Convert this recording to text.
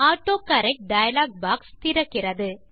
autocorrect dialog box திறக்கிறது